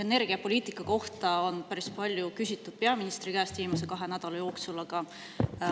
Energiapoliitika kohta on viimase kahe nädala jooksul päris palju küsitud peaministri käest.